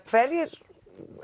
hverjir